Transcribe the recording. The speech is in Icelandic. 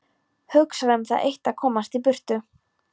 Hugsar um það eitt að komast í burtu.